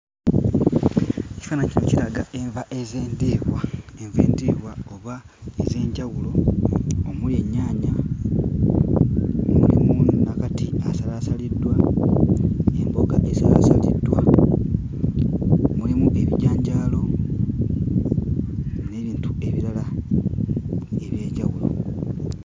Ekifaananyi kino kiraga enva ez'endiirwa, enva endiirwa oba ez'enjawulo omuli ennyaanya, mulimu nakati asalasaliddwa, emboga ezaasaliddwa, mulimu ebijanjaalo n'ebintu ebirala eby'enjawulo.